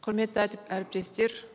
құрметті әріптестер